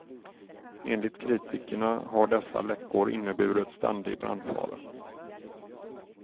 Enligt kritikerna har dessa läckor inneburit ständig brandfara.